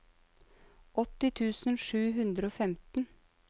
åtti tusen sju hundre og femten